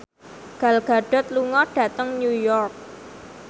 Gal Gadot lunga dhateng New York